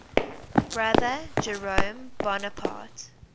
brother jerome bonaparte